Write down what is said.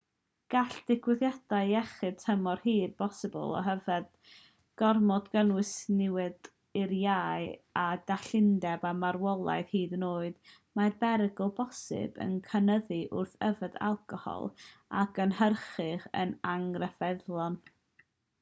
gall digwyddiadau iechyd tymor hir posibl o yfed gormodol gynnwys niwed i'r iau a dallineb a marwolaeth hyd yn oed mae'r perygl posibl yn cynyddu wrth yfed alcohol a gynhyrchir yn anghyfreithlon